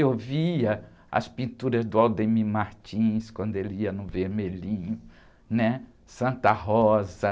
Eu via as pinturas do Aldemir Martins quando ele ia no Vermelhinho, Santa Rosa.